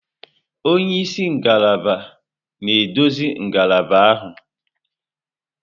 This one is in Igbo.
Onye isi ngalaba na-eduzi ngalaba ahụ.